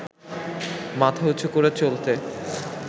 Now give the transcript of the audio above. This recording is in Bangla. মাথা উচু করে চলতে